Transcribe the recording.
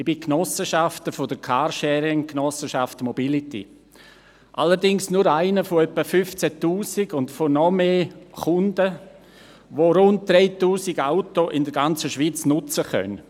Ich bin Genossenschafter der Carsharing-Genossenschaft Mobility, allerdings nur einer von etwa 15 000 und noch mehr Kunden, die rund 3000 Autos in der ganzen Schweiz nutzen können.